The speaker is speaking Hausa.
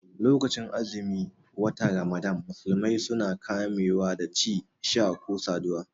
Lokacin azumin wata ramadana musulmai suna kame wa da ci, sha ko saduwa